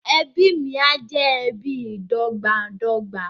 Ẹbí mí á jẹ ẹbí ìdọ́gbańdọ́gba